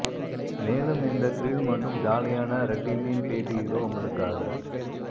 மேலும் இந்த த்ரில் மற்றும் ஜாலியான ர டீமின் பேட்டி இதோ உங்களுக்காக